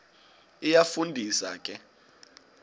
iyafu ndisa ke